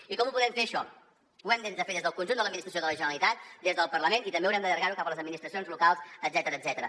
i com ho podem fer això ho hem de fer des del conjunt de l’administració de la generalitat des del parlament i també haurem d’allargar ho cap a les administracions locals etcètera